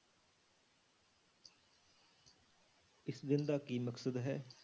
ਇਸ ਦਿਨ ਦਾ ਕੀ ਮਕਸਦ ਹੈ?